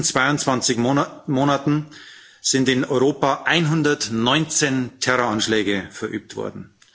In den letzten zweiundzwanzig Monaten sind in Europa 119 Terroranschläge verübt worden.